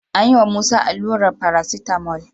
An yiwa Musa allurar paracetamol.